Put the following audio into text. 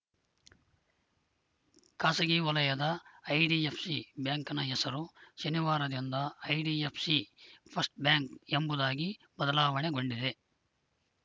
ಖಾಸಗಿ ವಲಯದ ಐಡಿಎಫ್‌ಸಿ ಬ್ಯಾಂಕ್‌ನ ಹೆಸರು ಶನಿವಾರದಿಂದ ಐಡಿಎಫ್‌ಸಿ ಫಸ್ಟ್‌ ಬ್ಯಾಂಕ್‌ ಎಂಬುದಾಗಿ ಬದಲಾವಣೆಗೊಂಡಿದೆ